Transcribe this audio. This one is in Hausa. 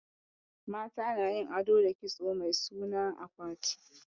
Mata na yin ado da kitso mai sunan akwati